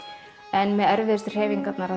en með erfiðustu hreyfingarnar